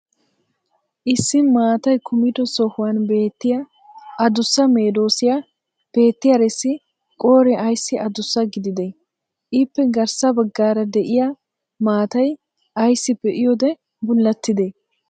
issi maatay kummido sohuwan beettiya adussa medoossiya beettiyarissi qooree ayssi adussa gididee? ippe garssa bagaara de'iya maatay ayssi be'iyoode bullatidee?